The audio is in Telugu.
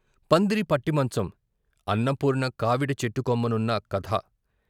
పందిరి పట్టిమంచం అన్నపూర్ణకావిడి చెట్టుకొమ్మనున్న కథ